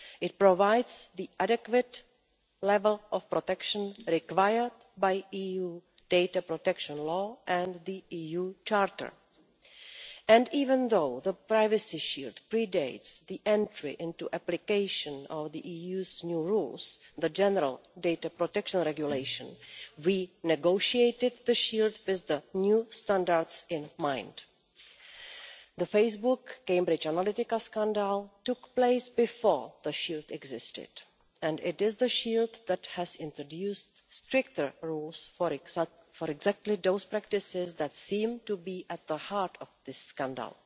It provides the adequate level of protection required by EU data protection law and the EU Charter, and even though the Privacy Shield predates the entry into application of the EU's new rules, the General Data Protection Regulation, we negotiated the Shield with the new standards in mind. The Facebook Cambridge Analytica scandal took place before the Shield existed, and it is the Shield that has introduced stricter rules for exactly those practices that seem to be at the heart of this scandal.